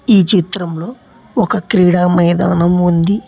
ఈ చిత్రంలో ఒక క్రీడా మైదానం ఉంది.